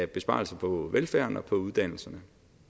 besparelser på velfærden og på uddannelserne